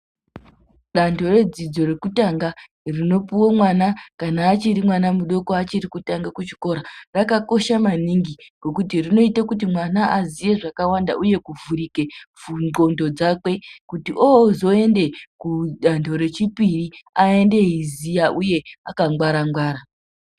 Vantu vedzidzo rokutanga rinopuwa mwana kana achiri mudoko achiri kutanga kuchikora rakakosha maningi ngokuti rinoita kuti mwana azive zvakawanda uye kuvhurika nhlondo dzake kuti ozoenda kudando rechipiri aende eiziva uye akangwara ngwara.